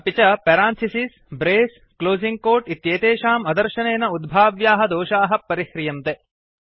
अपि च parenthesis brace closing quote इत्येतेषाम् अदर्शनेन उद्भाव्याः दोषाः परिह्रियन्ते